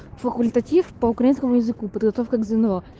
факультатив по украинскому языку подготовка к зно